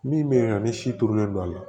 Min bɛ yen nɔ ni si turulen don a la